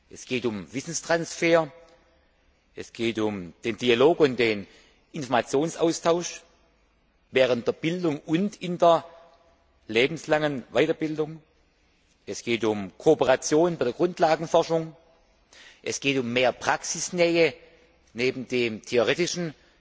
Es geht um den Wissenstransfer, um den Dialog und den Informationsaustausch während der Bildung und in der lebenslangen Weiterbildung, es geht um Kooperation bei der Grundlagenforschung, es geht um mehr Praxisnähe neben dem Theoretischen